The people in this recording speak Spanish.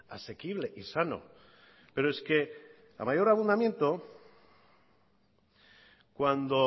asequible y sano pero es que a mayor abundamiento cuando